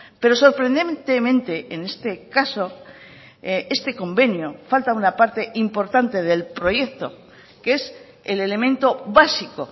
pero sorprendentemente en este caso este convenio falta una parte importante del proyecto que es el elemento básico